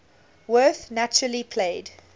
werth naturally played